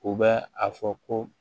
U bɛ a fɔ ko